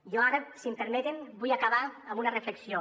jo ara si em permeten vull acabar amb una reflexió